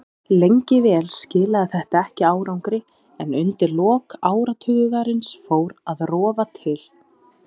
Lengi vel skilaði þetta ekki árangri en undir lok áratugarins fór að rofa til.